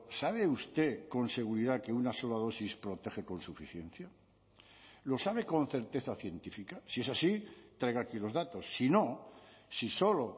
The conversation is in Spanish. sabe usted con seguridad que una sola dosis protege con suficiencia lo sabe con certeza científica si es así traiga aquí los datos si no si solo